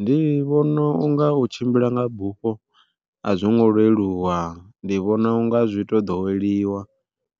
Ndi vhona unga u tshimbila nga bufho a zwo ngo leluwa ndi vhona unga zwi to ḓoweliwa